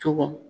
Cogo